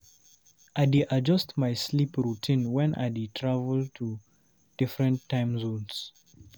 I dey adjust my sleep routine when I dey travel to different time zones.